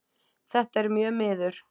Þetta er mjög miður.